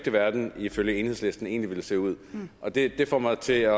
verden ifølge enhedslisten egentlig ville se ud og det får mig til